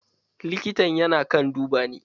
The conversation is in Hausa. Likitan yana kan duba ni.